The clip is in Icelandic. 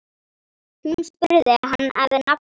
Hún spurði hann að nafni.